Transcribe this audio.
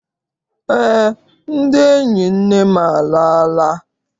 Eé, ndị enyi nne m alala.